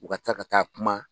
U ka taa ka taa kuma.